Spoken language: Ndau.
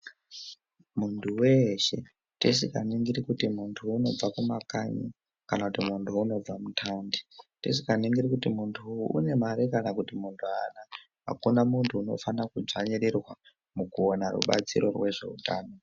Muntu weeshe ,tisikaningiri kuti muntu unobva kumakanyi, kana kuti muntu unobva kuthaundi, tisikaningiri kuti muntu une mare kana kuti muntu aana, akuna muntu unofana kudzvanyirirwa, mukuwana rubatsiro rwezveutano.